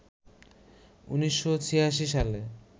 ১৯৮৬ সালে